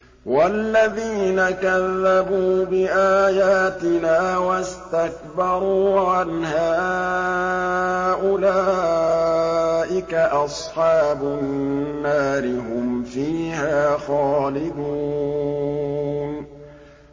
وَالَّذِينَ كَذَّبُوا بِآيَاتِنَا وَاسْتَكْبَرُوا عَنْهَا أُولَٰئِكَ أَصْحَابُ النَّارِ ۖ هُمْ فِيهَا خَالِدُونَ